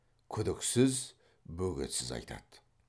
күдіксіз бөгетсіз айтады